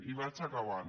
i vaig acabant